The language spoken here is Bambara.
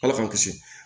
Ala k'an kisi